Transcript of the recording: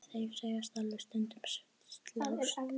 Þeir segjast alveg stundum slást.